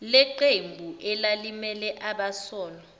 leqembu elalimele abasolwa